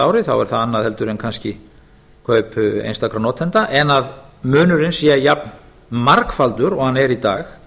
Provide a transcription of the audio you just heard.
árið þá er það annað heldur en kannski kaup einstakra notenda en að munurinn sé jafn margfaldur eins og hann er í dag